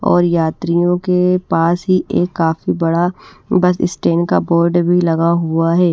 और यात्रियों के पास ही एक काफी बड़ा बस स्टैन का बोर्ड भी लगा हुआ है।